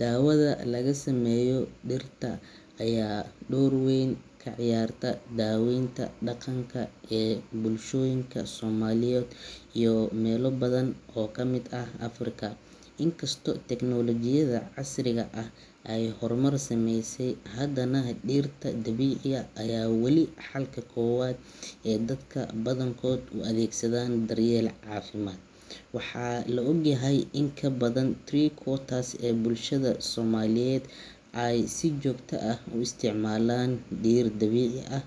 Dawada laga sameeyo dhirta ayaa door weyn ka ciyaarta daaweynta dhaqanka ee bulshooyinka Soomaaliyeed iyo meelo badan oo ka mid ah Afrika. Inkastoo tiknoolajiyadda casriga ah ay horumar sameysay, haddana dhirta dabiiciga ah weli waa xalka koowaad ee dadka badankood u adeegsadaan daryeel caafimaad. Waxaa la ogyahay in in ka badan three quarters ee bulshada Soomaaliyeed ay si joogto ah u isticmaalaan dhir dabiici ah